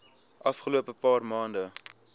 afgelope paar maande